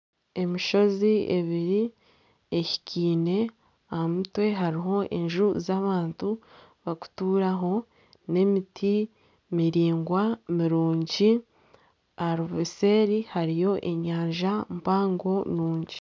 Emishozi ebiri ehikiine aha mutwe hariho enju z'abantu bakutuuramu n'emiti miraingwa mirungi seeri hariyo enyanja mpango nungi.